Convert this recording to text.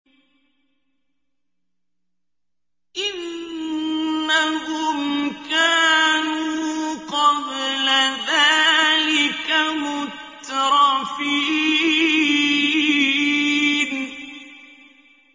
إِنَّهُمْ كَانُوا قَبْلَ ذَٰلِكَ مُتْرَفِينَ